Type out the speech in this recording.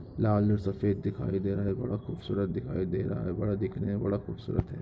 लाल और सफ़ेद दिखाई दे रहा है बड़ा खूबसूरत दिखाई दे रहा हैं बड़ा दिखने में बड़ा ख़ूबसूरत हैं।